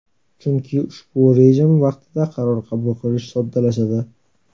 Chunki ushbu rejim vaqtida qaror qabul qilish soddalashadi.